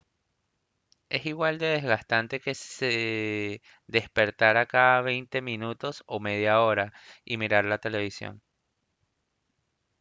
es igual de desgastante que si despertara cada veinte minutos o media hora y mirara la televisión